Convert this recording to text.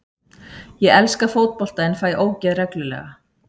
Ég elska fótbolta en fæ ógeð reglulega.